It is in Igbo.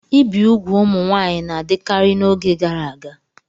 Ibi úgwù ụmụ nwaanyị na-adịkarị n'oge gara aga.